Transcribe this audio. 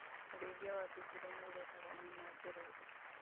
ũrĩithia wa thungura nĩũrehaga nyama njororo